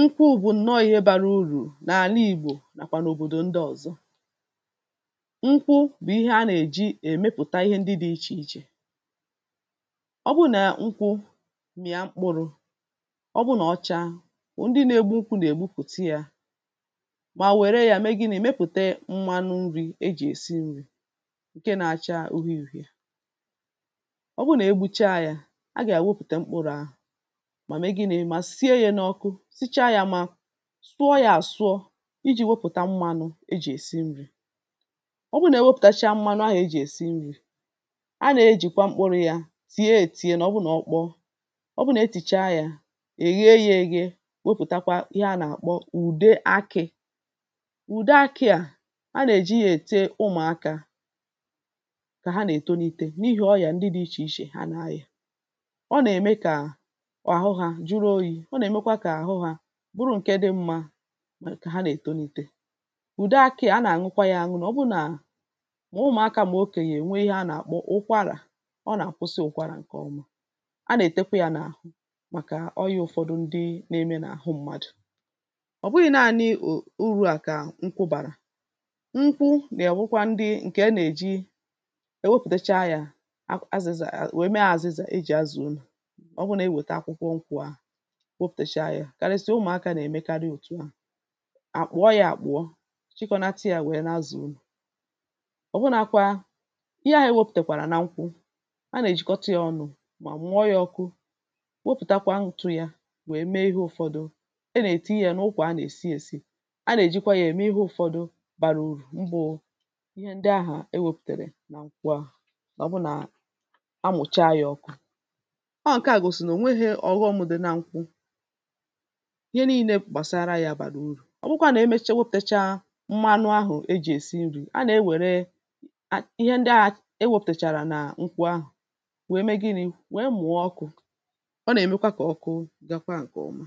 nkwụ bụ̀ ǹọọ̄ ihe bārā urú n’àla ìgbò nàkwà n’òbòdò ndị ọ̀zọ nkwụ bụ̀ ihe a nà-èji èmepụ̀ta ihe ndị dị̄ ichè ichè ọ bụrụ nà nkwụ m̀ịa mkpụrụ̄ ọ bụrụ nà ọ chaa ndị nā-ēgbū nkwụ̄ nà-ègbupùta yā mà nwère yā mee gịnị̄ mepùte mmanụ nrī ejì èsi nrī ǹke nā-āchā ufie ùfiè ọ bụrụ nà egbucha yā ha gà-èwepụ̀ta mkpụrụ̄ ahụ̀ mà mee gịnị̄ mà sie yā n’ọ̄kụ̄ sicha yā mā sụọ yā àsụọ ijī wepụ̀ta mmānụ̄ ejì èsi nrī ọ bụrụ nà ewepụ̀tacha mmanụ ahụ̀ ejì èsi nrī a na-ejìkwa mkpụrụ̄ yā tie ētiē nà ọ bụ nà ọ kpọọ ọ bụrụ nà etìcha yā èghe yā ēghē wepùtakwa ihe a nà-àkpọ ùde akị̄ ùde akị̄ à a nà-èji yā ète ụmụ̀akā kà ha nà-ètonite n’ihi ọyà ndị dị̄ ichè ichè ha na-ayà ọ nà-ème kà àhụ hā juru oyī ọ nà-èmekwa kà àhụ hā bụrụ ǹke dị̄ mmā kà ha nà-ètonite ùde akị̄ à a nà-àñụkwa yā àñụ ọ bụ nà mà ụmụ̀akā mà okènyè nwe ihe a nà-àkpọ ụkwarà ọ nà-àkụsị ụkwarà ǹkè ọma a nà-ètekwa yā n’àhụ màkà ọyā ụ̀fọdụ ndị nā-ēmē n’àhụ m̄mādụ̀ ọ̀ bụghị̄ naānị̄ urū à kà nkwụ bàrà nkwụ nà-ènwekwa ndị ǹkè a nà-èji ewepụ̀tacha yā a azịza nwèe mee àzịzà ejì azà ụnọ̀ ọ wụ nà ewèta akwụkwọ nkụ̄ à wopùtecha yā karịsịa ụmụ̀akā nà-èmekarị ọ̀tụ à àkpụ̀ọ yā àkpụ̀ọ chịkọ̀nata yā nwèe na-azā ụnọ̀ ọ̀wụnākwā ihe ahụ̀ enwēpùtàkwàrà na nkwụ a nà-èjikọta yā ọnụ̄ mà mụọ yā ọ̄kụ̄ wopùtakwa ntū yā nwèe mee ihe ụ̄fọ̄dụ̄ a nà-èti yā n’ụkwà a nà-èsi ēsī a nà-èjikwa yā ème ihe ụ̄fọ̄dụ̄ bara uru mbụ̄ ihe ndị ahà ewēpùtèrè na nkwụ ahà mà ọ bụ nà amụ̀cha yā ọ̄kụ̄ ọọ̀ ǹke à gòsì nà ò nweghē ọ̀ghọm̄ dị na nkwụ ihe niīnē gbàsara yā bàrà urù ọ bụkwa nà emecha wopùtecha mmanụ ahụ̀ ejì èsi nrī a na-ewère ihe ndị ahà ewōpùtàchàrà nà nkwụ ahụ̀ nwèe mee gịnị̄ nwèe mụ̀ọ ọkụ̄ ọ nà-èmekwa kà ọkụ gakwa ǹkè ọma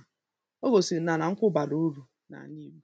o gòsìnà nà nkwụ bàrà urù n’àna ìgbò